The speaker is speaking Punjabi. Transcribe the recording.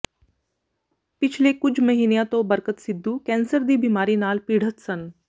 ਪਿਛਲੇ ਕੁੱਝ ਮਹੀਨਿਆਂ ਤੋਂ ਬਰਕਤ ਸਿੱਧੂ ਕੈਂਸਰ ਦੀ ਬਿਮਾਰੀ ਨਾਲ ਪੀੜ੍ਹਤ ਸਨ